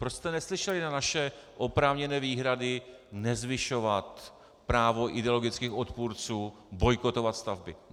Proč jste neslyšeli na naše oprávněné výhrady nezvyšovat právo ideologických odpůrců bojkotovat stavby?